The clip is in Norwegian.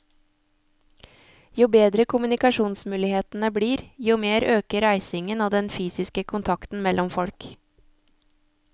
Jo bedre kommunikasjonsmulighetene blir, jo mer øker reisingen og den fysiske kontakten mellom folk.